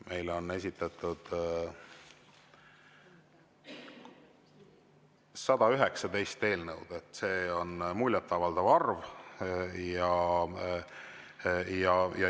Meile on esitatud 119 eelnõu, see on muljetavaldav arv.